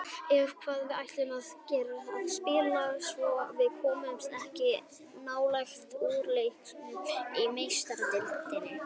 Ef að við ætlum okkur að spila svona komumst við ekki nálægt úrslitaleiknum í Meistaradeildinni.